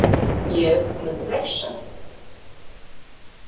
Ég mun refsa þeim.